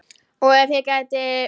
Og ef ég gæti.?